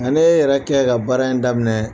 Nga ne yɛrɛ kɛ ka baara in daminɛ.